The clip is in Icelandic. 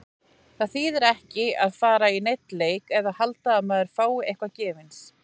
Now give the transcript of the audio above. Það þýðir ekki að fara í neinn leik og halda að maður fái eitthvað gefins.